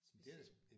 Specielt